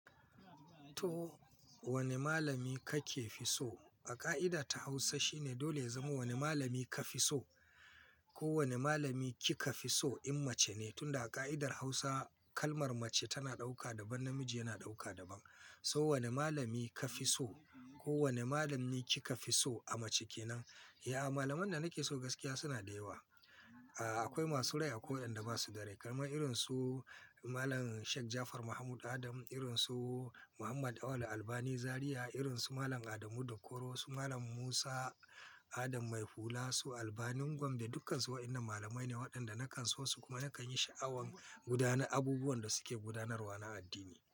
To wane malami kake fi so? A ƙa'ida ta Hausa shine dole ya zama wane malami ka fi so ko wane malami kika fi so in mace ne. Tun da a ƙa'idar Hausa kalmar mace tana ɗauka daban, namiji yana ɗauka daban. So wane malami ka fi so ko wane malami kika fi so a mace ke nan. Ya malamai da nake so gaskiya suna da yawa. Aa akwai masu rai akwai wayanda ba su da rai. Kalman irin su Malam Sheik Jafar Mahmud Adam, irin su Muhammad Auwal Albani Zariya, irin su Malam Adamu Dukoro, su Malam Musa Adam Maihula, su Albani Gombe. Dukansu waɗannan malamai ne waɗanda nakan so su kuma nakan yi sha'awan gudanar abubuwan da suke gudanarwa na addini.